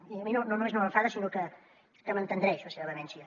i a mi no només no m’enfada sinó que m’entendreix la seva vehemència